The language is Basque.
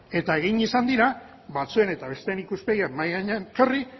eta egin izan dira batzuen eta besteen ikuspegiak mahai gainean jarri